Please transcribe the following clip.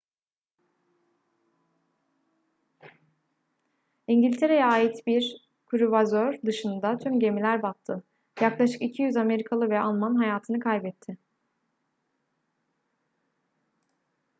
i̇ngiltere'ye ait bir kruvazör dışında tüm gemiler battı. yaklaşık 200 amerikalı ve alman hayatını kaybetti